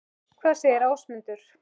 Hvað segir Ásmundur?